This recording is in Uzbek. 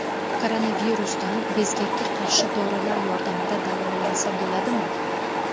Koronavirusdan bezgakka qarshi dorilar yordamida davolansa bo‘ladimi?